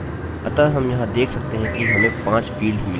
अतः हम यहाँ देख सकते हैं कि हमें 5 फील्ड्सfields मिली हैं